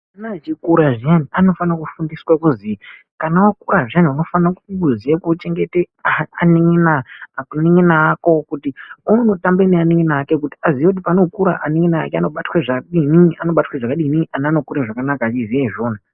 Ana achikura zviyani anofanira kufundiswaaa kuzi kana wakura zviyani unofanira kuziyee kuchengeta anin'ina ako kuti uone wekutambe naye kuti aziye kuti paanokura anin'ina ake anobatwe zvakadini, ana anokure zvakanaka achiziye zvunhu.